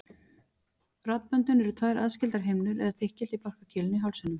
Raddböndin eru tvær aðskildar himnur eða þykkildi í barkakýlinu í hálsinum.